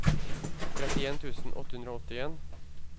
trettien tusen åtte hundre og åttien